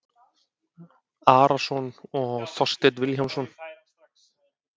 Arason og Þorstein Vilhjálmsson